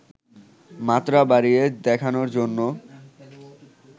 মাত্রা বাড়িয়ে দেখানোর জন্য